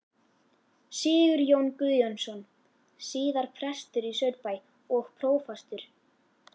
Sigurjón Guðjónsson, síðar prestur í Saurbæ og prófastur.